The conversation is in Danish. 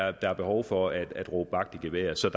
at der er behov for at råbe vagt i gevær så